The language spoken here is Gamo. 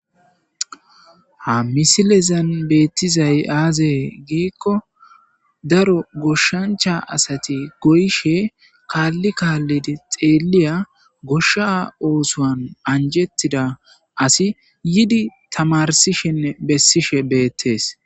ha misilezan beettizay aazee giikko daro goshshancha asati goyishe kaalli kaalledi xeeliya goshsha oosoan anjettida asi yidi tamarsishenne bessishe beettees